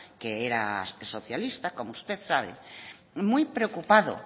que era socialista como usted sabe muy preocupado